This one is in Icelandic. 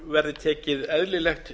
verði tekið eðlilegt